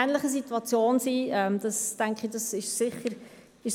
Ich danke auch im Namen meiner Mitmotionärinnen für die gute Aufnahme dieses Themas.